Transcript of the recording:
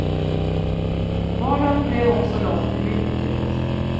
Vardagen blev också lång, mycket lång.